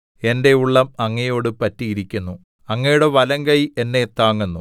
എന്റെ ഉള്ളം അങ്ങയോട് പറ്റിയിരിക്കുന്നു അങ്ങയുടെ വലങ്കൈ എന്നെ താങ്ങുന്നു